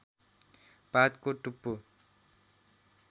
पातको टुप्पो